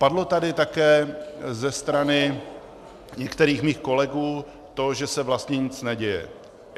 Padlo tady také ze strany některých mých kolegů to, že se vlastně nic neděje.